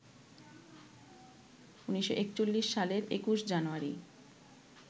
১৯৪১ সালের ২১ জানুয়ারি